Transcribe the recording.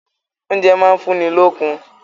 Oúnjẹ máa ń fún ni lókun.